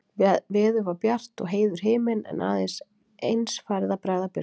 Veður var bjart og heiður himinn, en að eins farið að bregða birtu.